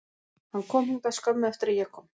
Hann kom hingað skömmu eftir að ég kom,